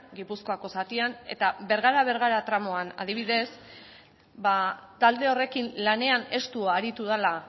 gipuzkoako zatian eta bergara bergara tramoan adibidez talde horrekin lanean estu aritu dela